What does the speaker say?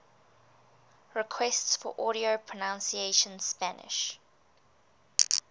requests for audio pronunciation spanish